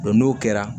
n'o kɛra